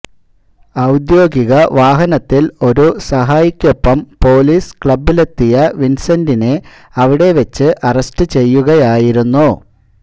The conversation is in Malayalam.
ഔദ്യോഗിക വാഹനത്തില് ഒരു സഹായിക്കൊപ്പം പൊലീസ് ക്ലബ്ബിലെത്തിയ വിന്സെന്റിനെ അവിടെവച്ച് അറസ്റ്റ് ചെയ്യുകയായിരുന്നു